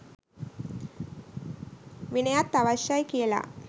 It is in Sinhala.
විනයත් අවශ්‍ය යි කියලා